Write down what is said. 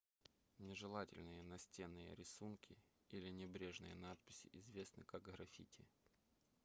нежелательные настенные рисунки или небрежные надписи известны как граффити